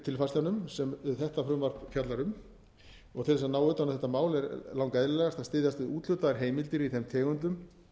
tilfærslunum sem þetta frumvarp fjallar um til þess að ná utan um þetta mál er lang eðlilegast að styðjast við úthlutaðar heimildir í þeim tegundum